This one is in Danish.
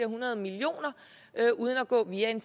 hundrede millioner uden at gå via en